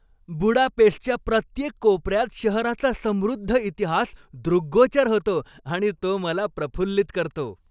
बुडापेस्टच्या प्रत्येक कोपऱ्यात शहराचा समृद्ध इतिहास दृग्गोचर होतो आणि तो मला प्रफुल्लित करतो.